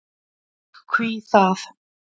Hví það?